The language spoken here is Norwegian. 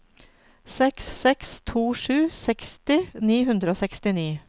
seks seks to sju seksti ni hundre og sekstini